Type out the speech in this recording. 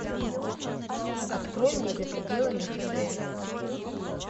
открой мне за пределами х д